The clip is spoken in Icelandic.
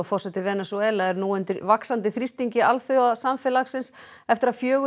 forseti Venesúela er nú undir vaxandi þrýstingi alþjóðasamfélagsins eftir að fjögur